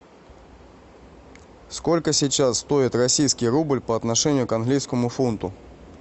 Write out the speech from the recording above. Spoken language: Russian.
сколько сейчас стоит российский рубль по отношению к английскому фунту